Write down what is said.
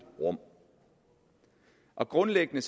rum og grundlæggende